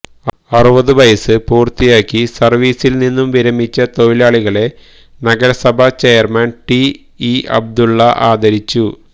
അറുപത് വയസ്സ് പൂര്ത്തിയാക്കി സര്വീസില്നിന്നും വിരമിച്ച തൊഴിലാളികളെ നഗരസഭാ ചെയര്മാന് ടി ഇ അബ്ദുല്ല ആദരിച്ചു